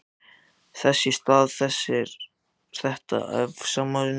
Þess í stað sáði þetta efasemdum.